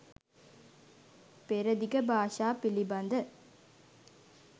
පෙරදිග භාෂා පිළිබඳ